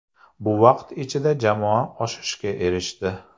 Bu vaqt ichida jamoa o‘sishga erishdi.